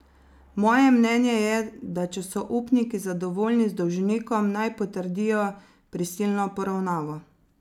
Moje mnenje je, da če so upniki zadovoljni z dolžnikom, naj potrdijo prisilno poravnavo.